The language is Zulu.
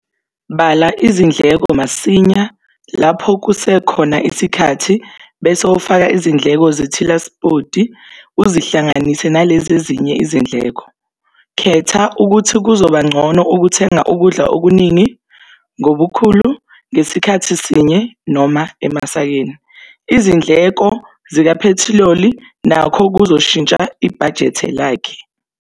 Bala izindleko zakho masinya lapho kusekhona isikhathi bese ufake izindleko zentilansipoti uzihalanganise nalezezinye izindleko. Khetha ukuthi kuzobangcono ukuthenga ukudla okuningi, ngobukhulu, ngesikhathi sinye noma emasakeni. Izindleko zikaphethroli nacho kuzoshintsha ibhajete lakhe.